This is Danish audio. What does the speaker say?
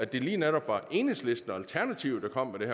det lige netop var enhedslisten og alternativet der kom med det